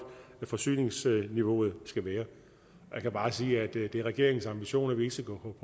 forsyningsniveauet skal være jeg kan bare sige at det er regeringens ambition at vi ikke skal gå